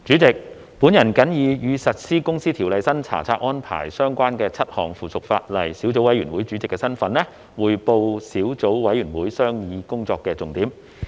主席，我謹以與實施《公司條例》新查冊安排相關的7項附屬法例小組委員會主席的身份，匯報小組委員會商議工作的重點。